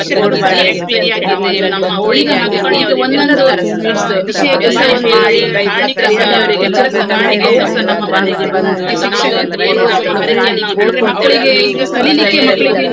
ಸಂಗೀತ ಆಗಿರ್ಬೋದು, ನಾವು ಅದ್ರಲ್ಲಿ ಒಂದು ಹ್ಮ್ ವ~ ಇದು ತಕೊಂಡದ್ದು ನಮ್ಮ prize prize ತಕೊಂಡದ್ದು ಎಲ್ಲಾಸಾ ನನ್ಗೆ ನೆನಪಾಗ್ತದೆ. ನಾನು ಮತ್ತೆ ನಂದೊಬ್ಬಳದ್ದು ಒಂದು close ಒಬ್ಳು friend ಇದ್ಲು ಅವ್ಳು ಈಗ್ಲೂಸಾ ನನ್ನ ಇದ್ರಲ್ಲಿ ಇದ್ದಾಳೆ.